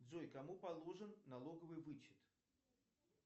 джой кому положен налоговый вычет